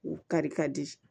U kari ka di